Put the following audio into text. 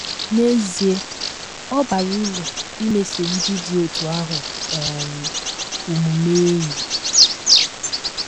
N’ezie, ọ bara uru imeso ndị dị otú ahụ um omume enyi.